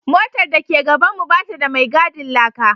Motar da ke gabanmu ba ta da mai gadin laka